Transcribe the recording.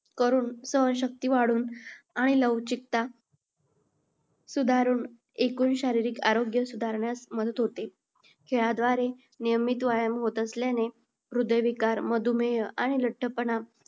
करून सहनशक्ती वाढून आणि लवचिकता सुधारून एकूण शारीरिक आरोग्य सुधारण्यास मदत होते. खेळाद्वारे नियमित व्यायाम होत असल्याने हृदयविकार, मधुमेह आणि लठ्ठपणा